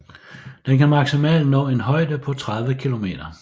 Den kan maksimalt nå en højde på 30 kilometer